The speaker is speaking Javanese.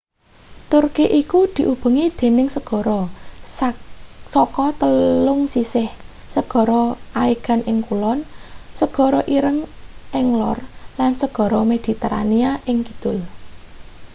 turki iku diubengi dening segara saka telung sisih segara aegan ing kulon segara ireng ing lor lan segara mediterania ing kidul